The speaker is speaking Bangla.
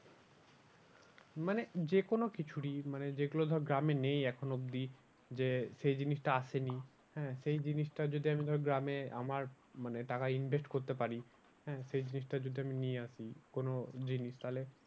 মানে যে কোনো কিছুরই মানে যেগুলো ধর গ্রামে নেই এখনো অবধি যে সে জিনিসটা আসেনি হ্যাঁ সেই জিনিসটা যদি ধর গ্রামে আমার মানে টাকা invest করতে পারি। হ্যাঁ সেই জিনিসটা যদি আমি নিয়ে আসি কোনো জিনিস তাহলে